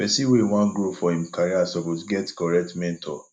pesin wey wan grow for im career suppose get correct mentor